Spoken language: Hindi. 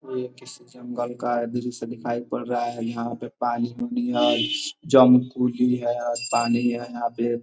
कोई ये किसी जंगल का दृश्य दिखाई पर रहा है। यहां पे पानी पानी है यहाँ पे।